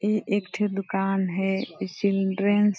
ये एकथ दुकान है चिल्ड्रेंस --